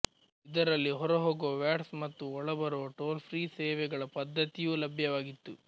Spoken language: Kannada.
ಇದರಲ್ಲಿ ಹೊರಹೋಗುವ ವಾಟ್ಸ್ ಮತ್ತು ಒಳಬರುವ ಟೋಲ್ಫ್ರೀ ಸೇವೆಗಳ ಪದ್ಧತಿಯೂ ಲಭ್ಯವಾಗಿತ್ತು